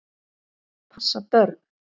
Passa börn?